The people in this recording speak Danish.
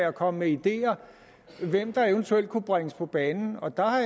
at komme med ideer til hvem der eventuelt kunne bringes på banen og der har